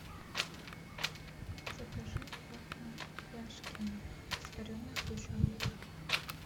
закажи вафли яшкино с вареной сгущенкой